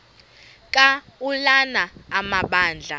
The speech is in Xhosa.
ka ulana amabandla